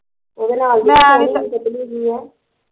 ਉਹਦੇ ਨਾਲ਼ਦੀ ਦੇਖੀ ਪਤਲੀ ਜਹੀ ਐ